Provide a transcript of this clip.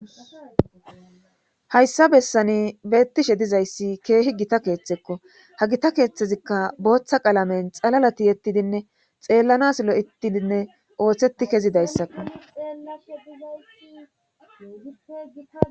Hayssa bessani beettishe dizayssi keehi gita keeththekko ha gita keeththezikka booththa qalamen xalalati yettidinne xeellanasilo ittidinne ooththeti kezidayssakko.